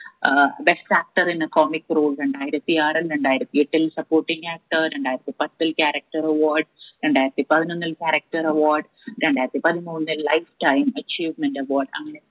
ഏർ best actor എന്ന comic role രണ്ടായിരത്തി ആറിൽ രണ്ടായിരത്തി എട്ടിൽ supporting actor രണ്ടായിരത്തി പത്തിൽ character award രണ്ടായിരത്തി പതിനൊന്നിൽ character award രണ്ടായിരത്തി പതിമൂന്നിൽ life time achievement award അങ്ങനെ